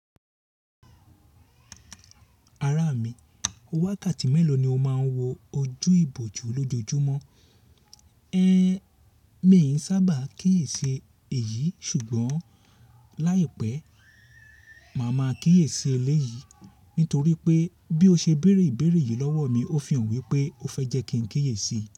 Ara mi, wákàtí mẹ́lò ni o máa ń wo ojú ìbòjú lójoojúmọ́? Ẹ̀n, mi n sábà kíyèsi èyí ṣùgbọ́n láìpẹ́, màá máa kíyèsi eléyìí nítorí pé bí ó ṣe bèrè ìbéèrè yìí lọ́wọ́ mi, ó fi hàn wípé ó fẹ́ jẹ kí n kíyèsi.